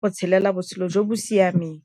go tshelela botshelo jo bo siameng.